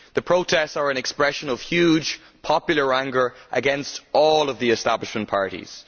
The protests are an expression of huge popular anger against all the establishment parties.